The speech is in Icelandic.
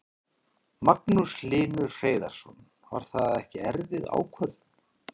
Magnús Hlynur Hreiðarsson: Var það ekki erfið ákvörðun?